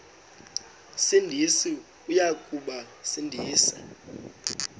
sindisi uya kubasindisa